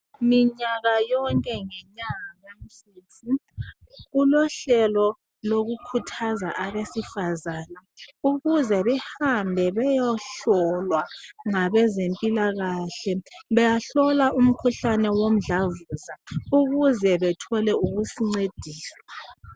Minyaka yonke ngenyanga kamfumfu, kulohlelo lokukhuthaza abesifazane ukuze behambe beyohlolwa ngabezempilakahle. Bahlolwa umkhuhlane womdlavuza ukuze bethole ukuncediswa.